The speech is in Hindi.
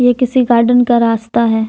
ये किसी गार्डन का रास्ता है।